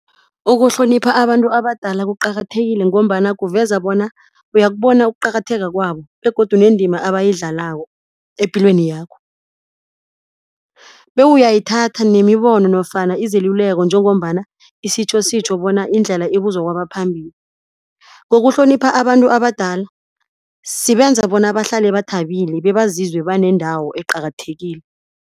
Ukuhlonipha abantu abadala kuqakathekile ngombana kuveza bona uyakubona ukuqakatheka kwabo begodu nendima abayidlalako epilweni yakho. Bewuyayithatha nemibono nofana izeluleko njengombana isitjho sitjho bona indlela ibuzwa kwabaphambili. Ngokuhlonipha abantu abadala sibenza bona bahlale bathabile bebazizwe banendawo eqakathekile.